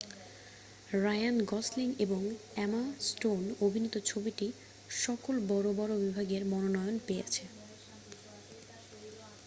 Ryan Gosling এবং Emma Stone অভিনীত ছবিটি সকল বড় বড় বিভাগে মনোনয়ন পেয়েছে